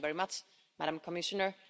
Thank you very much, Madam Commissioner.